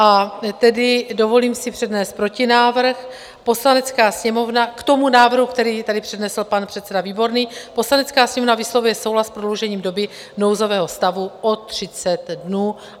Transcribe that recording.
A tedy dovolím si přednést protinávrh k tomu návrhu, který tady přednesl pan předseda Výborný: Poslanecká sněmovna vyslovuje souhlas s prodloužením doby nouzového stavu o 30 dnů.